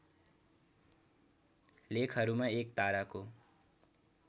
लेखहरूमा एक ताराको